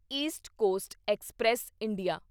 East coast express India